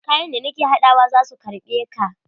Kayan da nake haɗawa za su karɓe ka.